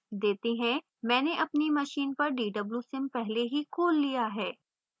मैंने अपनी machine पर dwsim पहले ही खोल लिया है